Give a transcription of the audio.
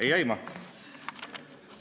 Ei aima?